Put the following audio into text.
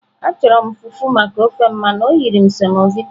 Achọrọ m fufu maka ofe m mana o nyere m semovita.